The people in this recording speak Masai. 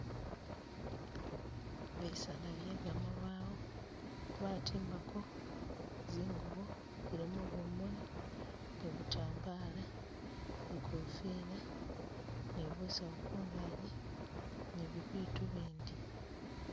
Bisaala bye gamabawo batimbako zingubo zilimo bumuli, ni butambala, zikofila, ni busawu kungagi ni bibitu bindi.